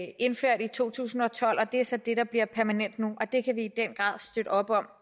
to tusind og tolv og det er så det der bliver permanent nu og det kan vi i den grad støtte op om